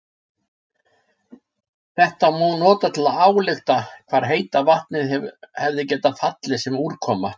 Þetta má nota til að álykta hvar heita vatnið hefði getað fallið sem úrkoma.